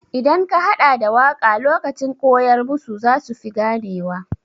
Idan ka haɗa da waƙa lokacin koyar musu zasu fi gane wa.